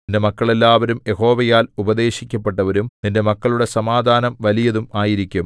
നിന്റെ മക്കൾ എല്ലാവരും യഹോവയാൽ ഉപദേശിക്കപ്പെട്ടവരും നിന്റെ മക്കളുടെ സമാധാനം വലിയതും ആയിരിക്കും